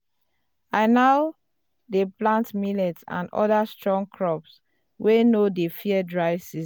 i now dey plant millet and other strong crops wey no dey fear dry season.